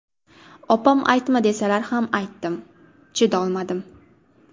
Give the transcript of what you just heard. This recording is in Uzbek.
Opam aytma desalar ham aytdim, chidolmadim.